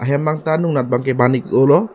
hem angtan anat ke ban ik oh lo.